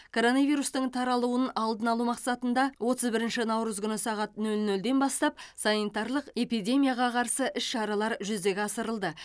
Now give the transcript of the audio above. коронавирустың таралуын алдын алу мақсатында отыз бірінші наурыз күні сағат нөл нөлден бастап санитарлық эпидемияға қарсы іс шаралар жүзеге асырылды